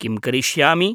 किं करिष्यामि?